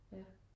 Ja